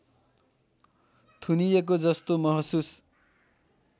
थुनिएको जस्तो महसुस